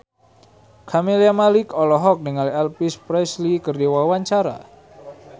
Camelia Malik olohok ningali Elvis Presley keur diwawancara